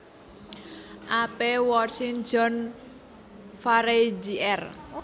A P Woolrich John Farey Jr